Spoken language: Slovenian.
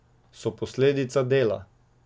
So posledica dela.